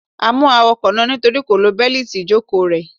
A mú awakọ̀ náà nítorí kò lo Bẹ́líìti ìjòkóo rè